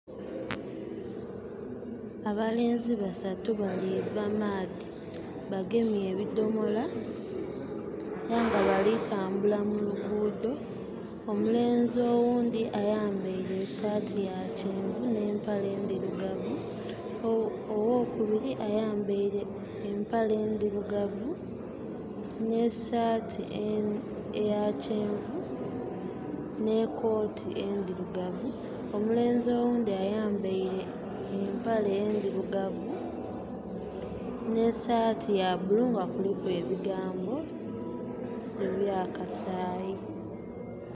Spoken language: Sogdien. Abalenzi basatu baliiva maadhi. Bagemye ebidomola, ate nga balitambula muluguudo. Omulenzi owundi ayambaire esaati ya kyenvu n'empale ndirugavu. Owokubiri ayambaire empale ndirugavu, n'esaati eyakyenvu, n'ekooti endirugavu. Omulenzi owundi ayambaire empale endirugavu n'esaati ya blue nga kuliku ebigambo eby'akasaayi